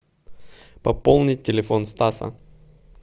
пополнить телефон стаса